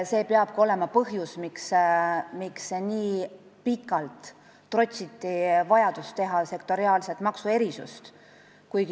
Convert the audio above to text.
See peabki olema põhjus, miks nii pikalt on trotsitud vajadust teha sektoriaalset maksuerisust.